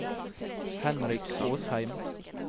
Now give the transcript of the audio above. Henrik Åsheim